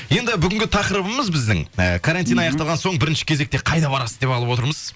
енді бүгінгі тақырыбымыз біздің і карантин аяқталған соң бірінші кезекте қайда барасыз деп алып отырмыз